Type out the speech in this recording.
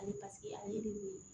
Ale paseke ale de ye